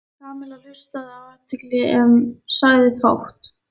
Kamilla hlustaði af athygli en sagði fátt.